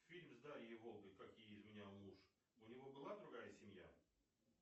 фильм с дарьей волгой как ей изменял муж у него была другая семья